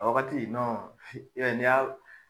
A wagati i b'a ye n'i y'a